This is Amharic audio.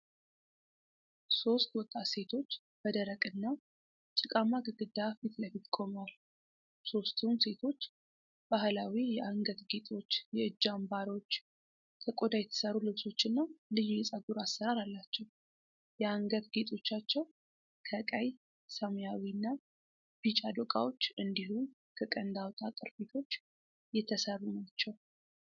ሶስት ወጣት ሴቶች በደረቅና ጭቃማ ግድግዳ ፊት ለፊት ቆመዋል። ሦስቱም ሴቶች ባህላዊ የአንገት ጌጦች፣ የእጅ አምባሮች፣ ከቆዳ የተሰሩ ልብሶችና ልዩ የጸጉር አሠራር አላቸው። የአንገት ጌጦቻቸው ከቀይ፣ ሰማያዊና ቢጫ ዶቃዎች እንዲሁም ከቀንድ አውጣ ቅርፊቶች የተሠሩ ናቸው።